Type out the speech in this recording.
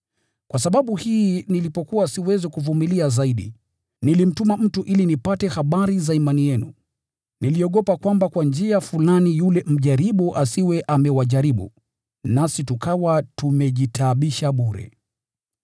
Kwa sababu hii nilipokuwa siwezi kuvumilia zaidi, nilimtuma mtu ili nipate habari za imani yenu. Niliogopa kwamba kwa njia fulani yule mjaribu asiwe amewajaribu, nasi tukawa tumejitaabisha bure.